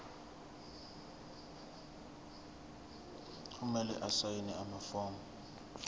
kumele asayine amafomu